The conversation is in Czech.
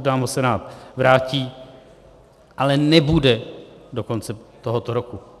nám ho Senát vrátí, ale nebude do konce tohoto roku.